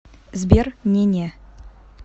сбер не не